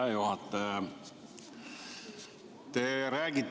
Hea juhataja!